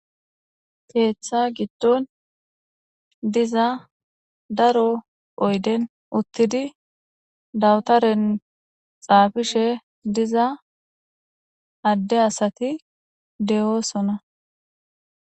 Keeththa giddon diza daro oyden uttidi dawtaren xaafishe diza adde asati de7oosona.